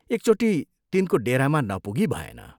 एकचोटि तिनको डेरामा नपुगी भएन।